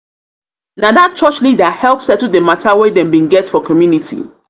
na dat church leader help settle di mata wey dem bin get for community.